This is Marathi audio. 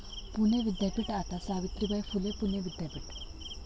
पुणे विद्यापीठ आता सावित्रीबाई फुले पुणे विद्यापीठ!